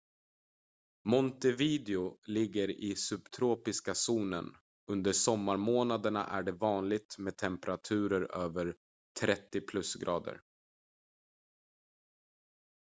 montevideo ligger i subtropiska zonen; under sommarmånaderna är det vanligt med temperaturer över +30°c